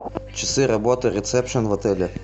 часы работы ресепшен в отеле